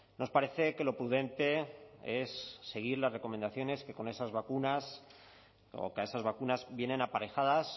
nos parece que lo prudente es seguir las recomendaciones que con esas vacunas o que a esas vacunas vienen aparejadas